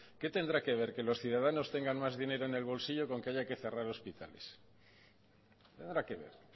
que qué tendrá que ver que los ciudadanos tengan más dinero en el bolsillo con que haya que cerrar hospitales qué tendrá que ver